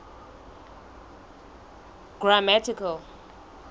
grammatical